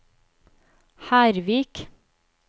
Hervik